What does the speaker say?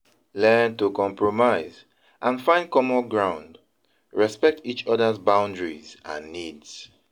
Learn to compromise and find common ground, respect each other's boundaries and needs.